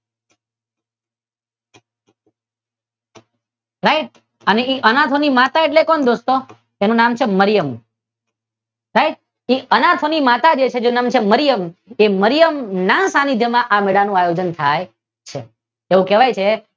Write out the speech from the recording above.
Right અનાથો ની માતા એટલે કોણ દોસ્તો? તેનું નામ છે મરિયમ. સાહેબ એ અનાથોની જે માતા છે તેનું નામ છે મરિયમ તે મરિયમ ના સાનિધ્ય માં આ મેળાનું આયોજન થાય છે તો કહેવાય છે કે